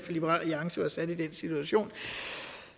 liberal alliance var sat i den situation